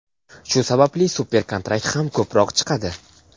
shu sababli super-kontrakt ham ko‘proq chiqadi.